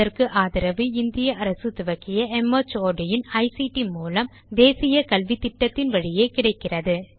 இதற்கு ஆதரவு இந்திய அரசு துவக்கிய மார்ட் இன் ஐசிடி மூலம் தேசிய கல்வித்திட்டத்தின் வழியே கிடைக்கிறது